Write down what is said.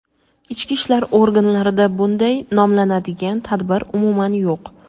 Ichki ishlar organlarida bunday nomlanadigan tadbir umuman yo‘q.